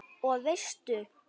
Og veistu.